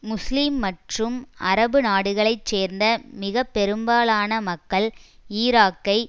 முஸ்லீம் மற்றும் அரபுநாடுகளை சேர்ந்த மிக பெரும்பாலான மக்கள் ஈராக்கை